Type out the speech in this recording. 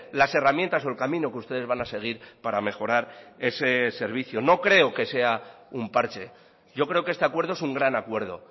las herramientas o el camino que ustedes van a seguir para mejorar ese servicio no creo que sea un parche yo creo que este acuerdo es un gran acuerdo